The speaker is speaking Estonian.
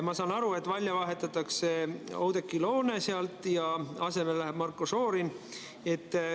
Ma saan aru, et välja vahetatakse Oudekki Loone ja asemele läheb Marko Šorin.